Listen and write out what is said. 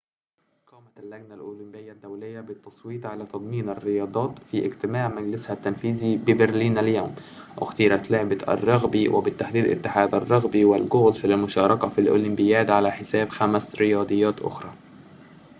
قامت اللجنة الأولمبية الدولية بالتصويت على تضمين الرياضات في اجتماع مجلسها التنفيذي ببرلين اليوم اختيرت لعبة الرغبي وبالتحديد اتحاد الرغبي والجولف للمشاركة في الأولمبياد على حساب خمس رياضات أخرى